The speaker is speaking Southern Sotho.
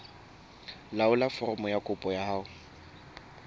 laolla foromo ya kopo ho